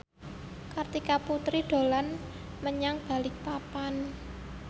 Kartika Putri dolan menyang Balikpapan